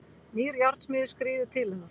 Nýr járnsmiður skríður til hennar.